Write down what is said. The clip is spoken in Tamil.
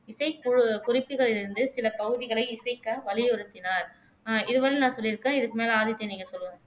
இசை கு குறிப்புகளிலிருந்து சில பகுதிகளை இசைக்க வழியுறுத்தினார் அஹ் இது வரையிலும் நான் சொல்லிருக்கேன் இதுக்கு மேல ஆதித்யன் நீங்க சொல்லுங்க